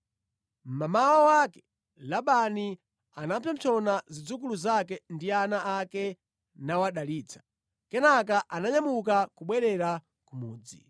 Mmamawa wake, Labani anapsompsona zidzukulu zake ndi ana ake nawadalitsa. Kenaka ananyamuka kubwerera ku mudzi.